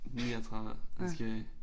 39 måske